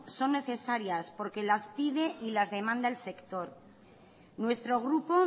son necesarias porque las pide y las demanda el sector nuestro grupo